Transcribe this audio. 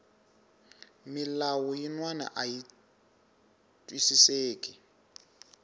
milawu yinwani ayi twisiseki